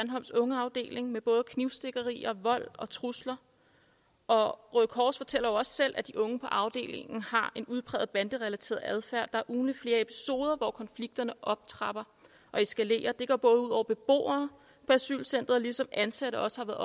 sandholms ungeafdeling med både knivstikkerier vold og trusler og røde kors fortæller jo også selv at de unge på afdelingen har en udpræget banderelateret adfærd der er ugentligt flere episoder hvor konflikterne optrapper og eskalerer det går ud over beboere på asylcenteret ligesom ansatte også